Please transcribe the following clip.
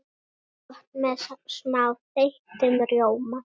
Gott með smá þeyttum rjóma.